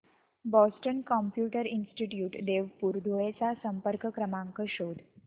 Boston computer institute Devpur Dhule चा संपर्क क्रमांक शोध